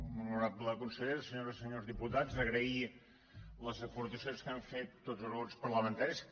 honorable consellera senyores i senyors diputats agrair les aportacions que han fet tots els grups parlamentaris